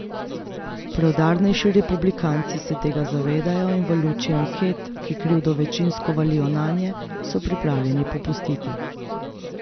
Preudarnejši republikanci se tega zavedajo in v luči anket, ki krivdo večinsko valijo nanje, so pripravljeni popustiti.